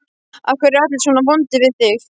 Af hverju eru allir svona vondir við þig?